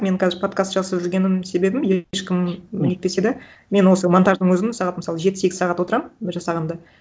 мен қазір подкаст жасап жүргенім себебім ешкім нетпесе да мен осы монтаждың өзін сағат мысалы жеті сегіз сағат отырамын жасағанда